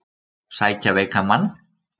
Sækja veikan mann